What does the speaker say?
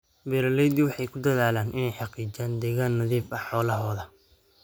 Beeraleydu waxay ku dadaalaan inay xaqiijiyaan deegaan nadiif ah xoolahooda.